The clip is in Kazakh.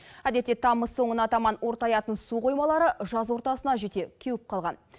әдетте тамыз соңына таман ортаятын су қоймалары жаз ортасына жете кеуіп қалған